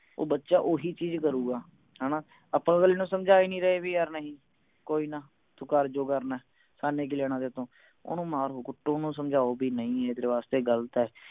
ਉਹ ਬੱਚਾ ਓਹੀ ਚੀਜ ਕਰੂਗਾ ਹਣਾ ਆਪਾਂ ਅਗਲੇ ਨੂੰ ਸਮਝਾ ਹੀ ਨਹੀਂ ਰਹੇ ਵੀ ਯਾਰ ਨਹੀਂ ਕੋਈ ਨਾ ਤੂੰ ਕਰ ਜੋ ਕਰਨੇ ਸਾਨੂੰ ਕਿ ਲੈਣਾ ਤੇਰੇ ਤੋਂ ਓਹਨੂੰ ਮਾਰੋ ਕੁੱਟੋ ਓਹਨੂੰ ਸਮਝਾਓ ਵੀ ਨਹੀਂ ਇਹ ਤੇਰੇ ਵਾਸਤੇ ਗਲਤ ਹੈ